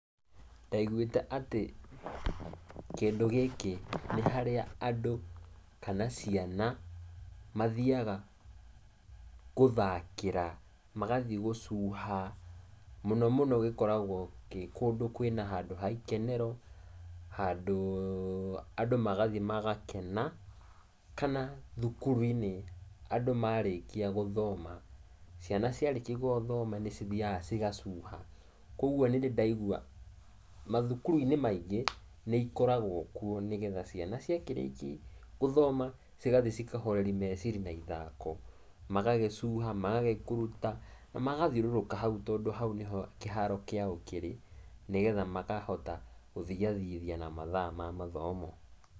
Ndaiguĩte atĩ, kĩndũ gĩkĩ nĩ harĩa andũ, kana ciana mathiaga gũthakĩra, magathiĩ gũcuha, mũno mũno gĩkoragwo kĩ kũndũ kwĩna handũ ha-ikenero, handũũũ andũ magathiĩ magakena, kana thukuru-inĩ andũ marĩkia gũthoma, ciana ciarĩkia gũthoma nĩ cithiaga cigacuha, kwoguo nĩndĩ ndaigua mathukuru-inĩ maingĩ nĩ ikoragwo kuo nĩgetha ciana cia kĩrĩki gũthoma, cigathiĩ cikahoreri meciri na ithako, magagĩcuha, magagĩkuruta na magathiũrũrũka hau tondũ hau nĩho kĩharo kĩao kĩrĩ, nĩgetha makahota gũthiathiithia na mathaa ma mathomo.